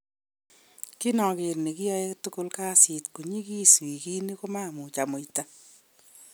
Inoker nekiyoe tugul kasit konyigis wikini komamuch amuita.